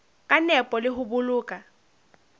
ka nepo le ho boloka